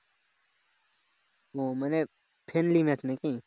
ও মানে friendly match নাকি